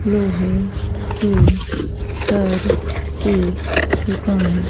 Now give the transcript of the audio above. लोहे की छर की दुकान--